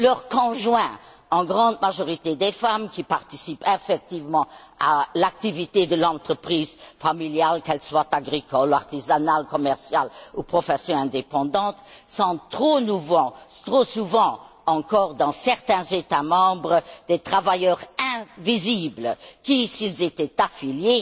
Leurs conjoints, en grande majorité des femmes, qui participent effectivement à l'activité de l'entreprise familiale, qu'elle soit agricole, artisanale, commerciale ou profession indépendante, sont trop souvent encore dans certains États membres des travailleurs invisibles qui, s'ils étaient affiliés,